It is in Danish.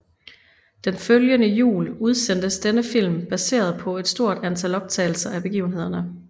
Den følgende jul udsendtes denne film baseret på et stort antal optagelser af begivenhederne